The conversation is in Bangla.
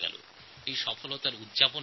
গ্রাম এই বিষয়ে কৃতকার্য হয়েছে